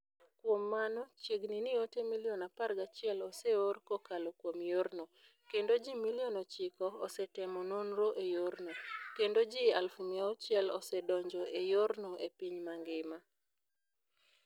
Kuom mano, chiegni ni ote milion 11 oseor kokalo kuom yorno, kendo ji milion 9 osetimo nonro e yorno, kendo ji 600,000 osedonjo e yorno e piny mangima.